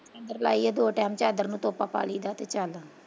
ਲਾਈਏ ਦੋ ਟਾਈਮ ਚਾਦਰ ਨੂੰ ਤੋਪਾ ਪਾ ਲਈਦਾ ਤੇ ਚੱਲ।